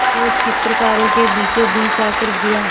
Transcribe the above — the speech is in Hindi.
जो चित्रकारों के बीचोंबीच आकर गिरा